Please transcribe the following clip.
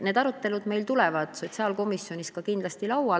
Need arutelud sotsiaalkomisjonis kindlasti tulevad.